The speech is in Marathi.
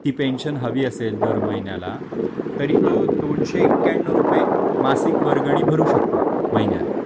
ती त्याला पेन्शन हवी असेल तर महिन्याला तरी तो दोन शे एक्यनौ रुपये मासिक वर्गणी भरू शकतो महिन्याला